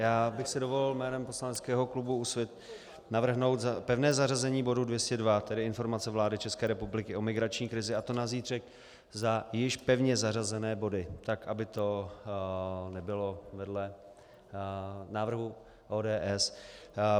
Já bych si dovolil jménem poslaneckého klubu Úsvit navrhnout pevné zařazení bodu 202, tedy Informace vlády České republiky o migrační krizi, a to na zítřek za již pevně zařazené body, tak aby to nebylo vedle návrhu ODS.